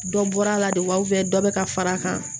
Dɔ bɔra a la de wa dɔ bɛ ka fara a kan